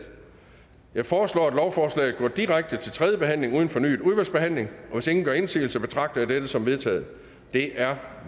jeg foreslår at lovforslaget går direkte til tredje behandling uden fornyet udvalgsbehandling hvis ingen gør indsigelse betragter jeg dette som vedtaget det er